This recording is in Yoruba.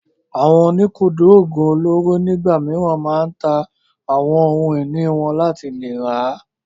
Àwọn oníkúndùn oògùn olóró nígbà mìíràn máa ń ta àwọn ohun ìní wọn láti lè rà á.